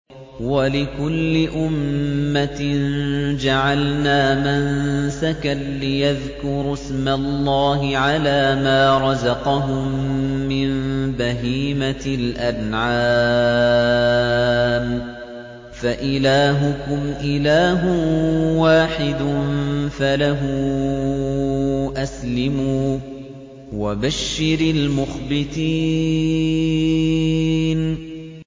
وَلِكُلِّ أُمَّةٍ جَعَلْنَا مَنسَكًا لِّيَذْكُرُوا اسْمَ اللَّهِ عَلَىٰ مَا رَزَقَهُم مِّن بَهِيمَةِ الْأَنْعَامِ ۗ فَإِلَٰهُكُمْ إِلَٰهٌ وَاحِدٌ فَلَهُ أَسْلِمُوا ۗ وَبَشِّرِ الْمُخْبِتِينَ